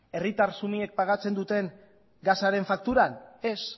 herritar xumeak pagatzen duten gasaren fakturan ez